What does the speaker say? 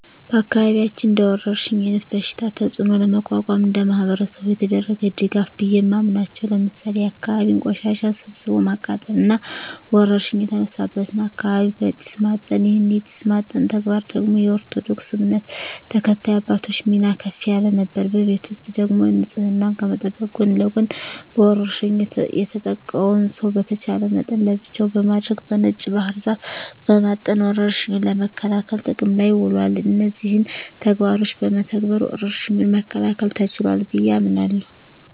በአካባቢያችን እንደወረርሽኝ አይነት በሽታ ተጽኖ ለመቋቋም እንደማህበረሰብ የተደረገ ድጋፍ ቢየ ማምናበቻው ለምሳሌ የአካባቢን ቆሻሻ ሰብስቦ ማቃጠል እና ወረርሽኝ የተነሳበትን አካባቢ በጢስ ማጠን ይህን የጢስ ማጠን ተግባር ደግሞ የኦርቶዶክስ እምነት ተከታይ አባቶች ሚና ከፍ ያለ ነበር። በቤት ውስጥ ደግሞ ንጽህናን ከመጠበቅ ጎን ለጎን በወርሽኙ የተጠቃውን ሰው በተቻለ መጠን ለብቻው በማድረግ በነጭ ባህር ዛፍ በማጠን ወረርሽኙን ለመከላከል ጥቅም ላይ ውሏል። እነዚህን ተግባሮች በመተግበር ወረርሽኙን መከላከል ተችሏል ብየ አምናለሁ።